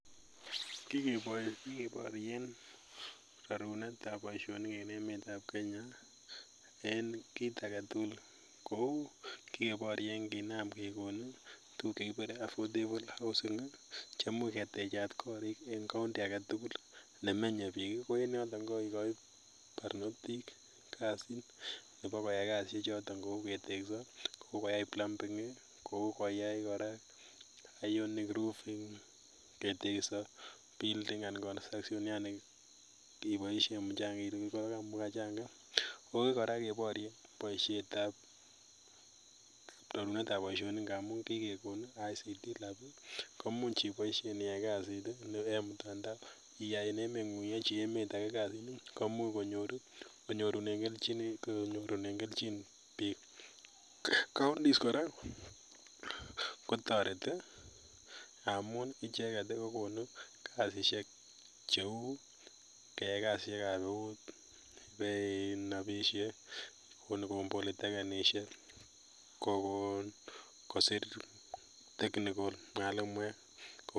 Kikebatien sorunet ab Baishonik en emet ab Kenya en kit agetugul Neu kikebatien kinam gekonin tuguk chekibare a ffordable houses cheimuch ketechat korik en county agetugul nemenye bik ak en yoton kokakogoi barnotik kasit Nebo koyai kasit choton en bet akoyai plumbing Kou koyai koraa ironing roofing ketekso building anan construction kebaishen mchangek akoi koraa kebairen baishet ab sorunet ab baishoni bi kegon ICT lab komuch ibaishen keyaen kasit en mtandao akiyachi emet age en emengun komuch konyoru en kelchin bik counties koraakotateti amun icheken kokonu kasishek cheu keyai kasit ab neut neinabishe Kou politekenishek Kou kosir technical mwalimuek